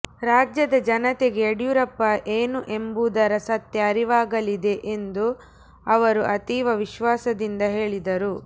ರಾಜ್ಯದ ಜನತೆಗೆ ಂುುಡಿಂುೂರಪ್ಪ ಏನು ಎಂಬುದರ ಸತ್ಯ ಅರಿವಾಗಲಿದೆ ಎಂದು ಅವರು ಅತೀವ ವಿಶ್ವಾಸದಿಂದ ಹೇಳಿದರು